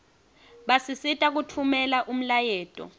basisita kutfumela umlayeto